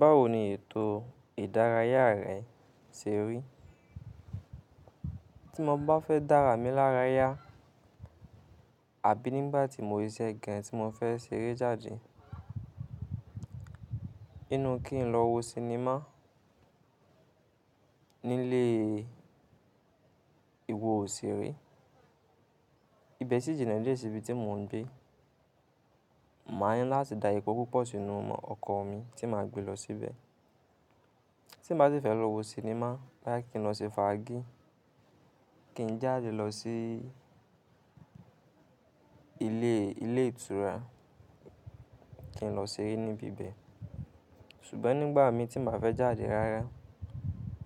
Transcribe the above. Báwo ni ètò ìdárayá rẹ ṣe rí? Tí mo bá fẹ́ dára mi lára yá àbí nígbà tí mo ríṣẹ́ gan tí mo fẹ́ ṣeré jáde, inú kí n lọ wo sinimá nílé ìwo òṣèré. Ibẹ̀ sì jìnà dié sí ibi tí mo ń gbé. Máa ni láti dá epò púpọ̀ sínú ọkọ̀ mi tí màá gbé lọ síbẹ̀. Tí n bá si fẹ́ lọ wo sinimá, boyá kí n lọ sí faají, kí n jáde lọ sí ilé ìtura, kí n lọ ṣeré níbi ibẹ̀. Ṣùgbọ́n nígbà mi tí nbá fẹ́ jáde rárá,